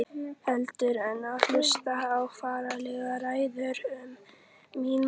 Heldur en hlusta á fáránlegar ræður um mín mál.